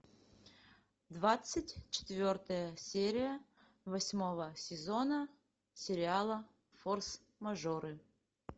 двадцать четвертая серия восьмого сезона сериала форс мажоры